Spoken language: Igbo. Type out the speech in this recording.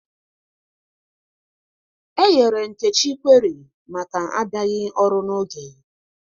E nyere Nkechi kweri maka abịaghị ọrụ n'oge